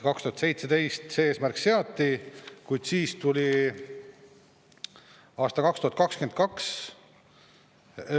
2017 see eesmärk seati, kuid siis tuli aasta 2022 ...